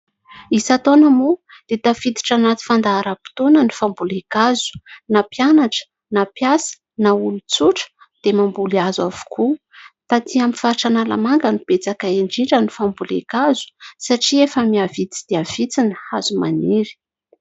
Isan-taona moa dia tafiditra anaty fandaharam-potoana ny fambolen-kazo. Na mpianatra na mpiasa na olon-tsotra dia mamboly hazo avokoa. Taty amin'ny faritra Analamanga no betsaka indrindra ny fambolen-kazo satria efa mihavitsy dia vitsy ny hazo maniry.